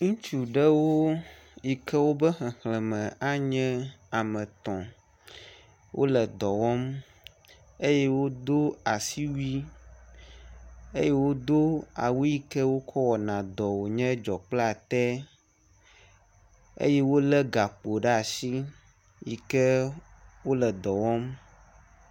Ŋutsu ɖewo yi ke woƒe xexlẽme anye ame etɔ̃. Wole dɔ wɔm eye wodo asiwui eye wodo awu yi ke wokɔ wɔna dɔe wònye dzɔkplatɛ eye wolé gakpo ɖe asi yi ke wole dɔ wɔm